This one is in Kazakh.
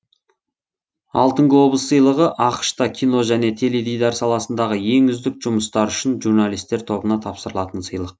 алтын глобус сыйлығы ақш та кино және теледидар саласындағы ең үздік жұмыстар үшін журналистер тобына тапсырылатын сыйлық